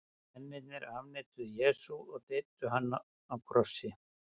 mennirnir afneituðu jesú og deyddu hann á krossi